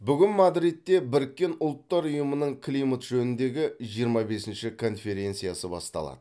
бүгін мадридте біріккен ұлттар ұйымының климат жөніндегі жиырма бесінші конференциясы басталады